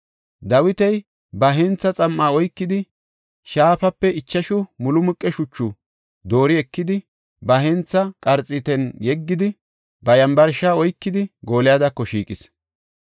Dawiti ba hentha xam7a oykidi, shaafape ichashu mulumuqe shuchu doori ekidi, ba hentha qarxiitan yeggidi, ba yambarsha oykidi, Goolyadako shiiqis.